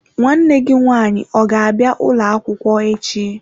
Nwanne gi nwanyi ọ ga-abia ụlọ akwukwo echi?